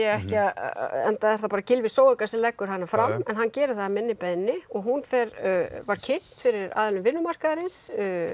ekki enda er það bara Gylfi Zoega sem leggur hana fram en hann gerir það að minni beiðni hún var kynnt fyrir aðilum vinnumarkaðarins